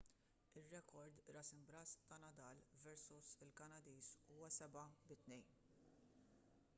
ir-rekord ras imb'ras ta' nadal versu l-kanadiż huwa 7-2